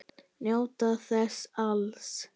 Njóta þess alls.